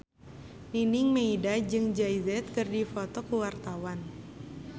Nining Meida jeung Jay Z keur dipoto ku wartawan